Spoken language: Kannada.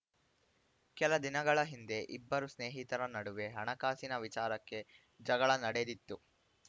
ಕೆಲ ದಿನಗಳ ಹಿಂದೆ ಇಬ್ಬರು ಸ್ನೇಹಿತರ ನಡುವೆ ಹಣಕಾಸಿನ ವಿಚಾರಕ್ಕೆ ಜಗಳ ನಡೆದಿತ್ತು